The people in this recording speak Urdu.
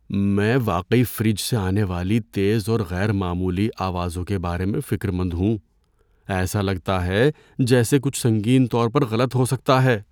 میں واقعی فریج سے آنے والی تیز اور غیر معمولی آوازوں کے بارے میں فکر مند ہوں، ایسا لگتا ہے جیسے کچھ سنگین طور پر غلط ہو سکتا ہے۔